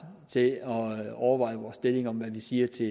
til at overveje vores stilling om hvad vi siger til